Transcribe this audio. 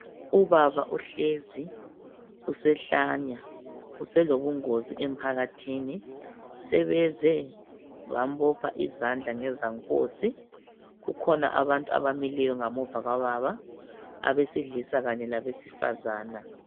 Ubaba uhlezi, usehlanya uselobungozi emphakathini sebeze bambopha izandla ngezankosi. Kukhona abantu abamileyo ngamuva kukababa besilisa kanye labesifazana.